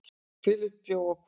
Filippus bjó að Hvoli.